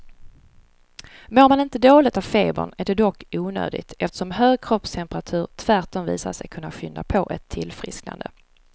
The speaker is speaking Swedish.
Mår man inte dåligt av febern är det dock onödigt, eftersom hög kroppstemperatur tvärtom visat sig kunna skynda på ett tillfrisknande.